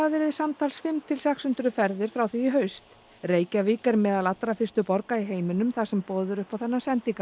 samtals verið fimm til sex hundruð ferðir frá því í haust Reykjavík er meðal allra fyrstu borga í heiminum þar sem er boðið upp á þennan